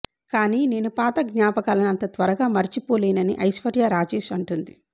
కానీ నేను పాత జ్ఞాపకాలని అంత త్వరగా మరచిపోలేనని ఐశ్వర్య రాజేష్ అంటోంది